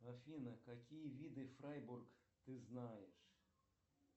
афина какие виды фрайбург ты знаешь